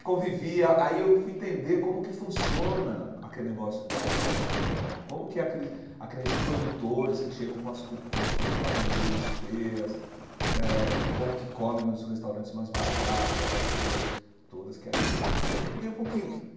Convivia, aí eu fui entender como que funciona a aquele negócio da Revolução Cubana, como que aqueles aqueles produtores que chegam com as co com as coisas para vender nas feiras, eh como que come nos restaurantes mais baratos, aquelas coisas todas, que aí eu fui entender um pouquinho que.